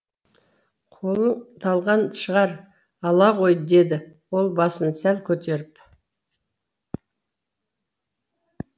қолың талған шығар ала ғой деді ол басын сәл көтеріп